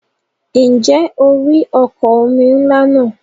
Ǹjẹ́ o rí ọkọ̀ omi ńlá náà?